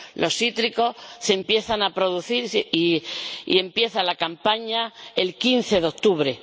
Los cítricos se empiezan a producir, y empieza la campaña el 15 de octubre.